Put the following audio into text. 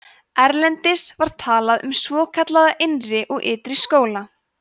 erlendis var talað um svokallaða innri og ytri skóla